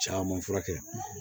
Caman furakɛ